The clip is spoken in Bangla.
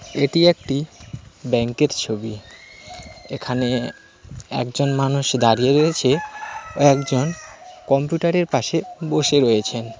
এটি একটি ব্যাংক এর ছবি এখানে একজন মানুষ দাঁড়িয়ে রয়েছে একজন কম্পিউটার এর পাশে বসে রয়েছেন।